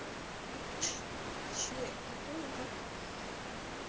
че о том как